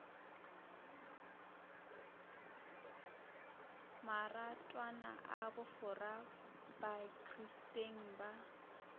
maratwana a bofora bakristeng ba